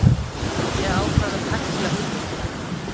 Ég ákvað að pækla hugmyndina.